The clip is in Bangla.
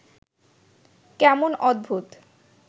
কেমন অদ্ভুত